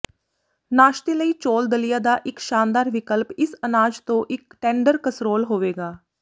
ਨਾਸ਼ਤੇ ਲਈ ਚੌਲ ਦਲੀਆ ਦਾ ਇੱਕ ਸ਼ਾਨਦਾਰ ਵਿਕਲਪ ਇਸ ਅਨਾਜ ਤੋਂ ਇੱਕ ਟੈਂਡਰ ਕਸਰੋਲ ਹੋਵੇਗਾ